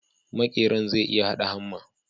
Makeran zai iya hada hamma